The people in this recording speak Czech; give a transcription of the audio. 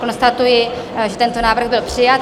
Konstatuji, že tento návrh byl přijat.